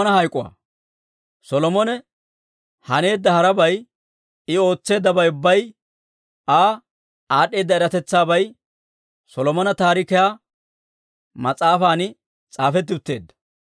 Solomone haneedda harabay, I ootseeddabay ubbay, Aa aad'd'eeda eratetsaabay Solomona Taarikiyaa mas'aafan s'aafetti utteedda.